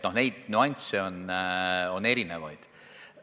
Nüansse on erinevaid.